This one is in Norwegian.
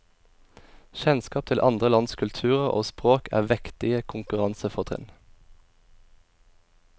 Kjennskap til andre lands kulturer og språk er vektige konkurransefortrinn.